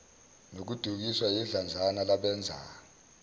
nokudukiswa yidlanzana labenza